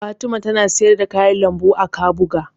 Fatima tana siyar da kayan lambu a Kabuga.